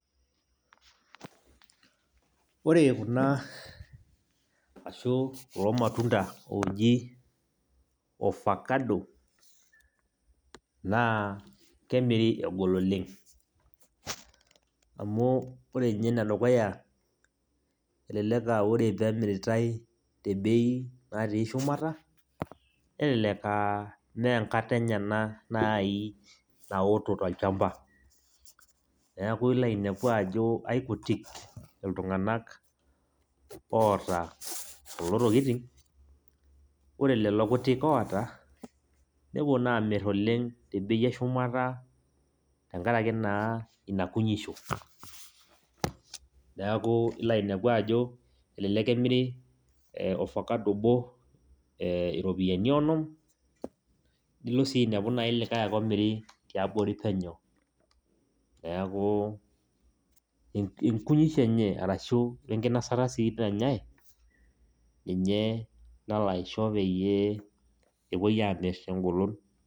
Ore kuna ashu kulo matunda oji ofakado, naa kemiri egol oleng. Amu ore nye enedukuya, elelek ah ore pemiritai tebei natii shumata, nelelek ah menkata enye ena nai naoto tolchamba. Neeku ilo ainepu ajo aikutik iltung'anak oota kulo tokiting, ore lelo kutik oota, nepuo naa amir oleng tebei eshumata tenkaraki naa ina kunyisho. Neeku ilo ainepu ajo, elelek emiri ofakado obo iropiyiani onom, nilo si ainepu likae ake omiri tiabori penyo. Neeku inkunyisho enye arashu wenkinasata si nanyai, ninye nalo aisho peyie epoi amir tegolon.